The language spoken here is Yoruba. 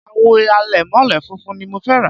àwo àlẹ̀mọ́lẹ̀ funfun ni mo fẹ́ rà